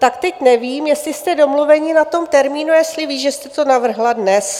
Tak teď nevím, jestli jste domluveni na tom termínu, jestli ví, že jste to navrhla dnes.